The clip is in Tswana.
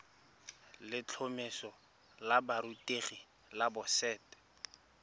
letlhomeso la borutegi la boset